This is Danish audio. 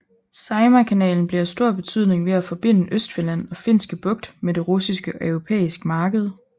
Saimaa kanalen blev af stor betydning ved at forbinde Østfinland og Finske Bugt med det russiske og europæiske marked